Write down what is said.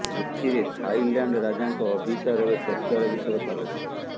ଏଥିରେ ଥାଇଲ୍ୟାଣ୍ଡ ରାଜାଙ୍କ ଅଭିସାର ଏବେ ଚର୍ଚ୍ଚାର ବିଷୟ ପାଲଟିଛି